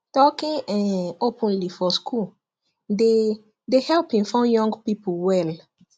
talking um openly for school dey dey help inform young people well